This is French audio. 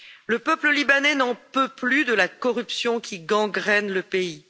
Le peuple libanais n'en peut plus de la corruption qui gangrène le pays.